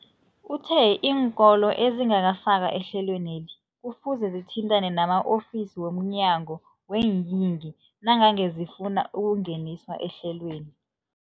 Uthe iinkolo ezingakafakwa ehlelweneli kufuze zithintane nama-ofisi wo mnyango weeyingi nangange zifuna ukungeniswa ehlelweni.